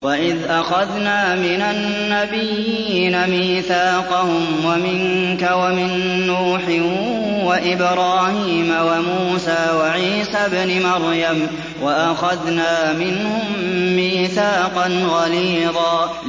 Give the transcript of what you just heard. وَإِذْ أَخَذْنَا مِنَ النَّبِيِّينَ مِيثَاقَهُمْ وَمِنكَ وَمِن نُّوحٍ وَإِبْرَاهِيمَ وَمُوسَىٰ وَعِيسَى ابْنِ مَرْيَمَ ۖ وَأَخَذْنَا مِنْهُم مِّيثَاقًا غَلِيظًا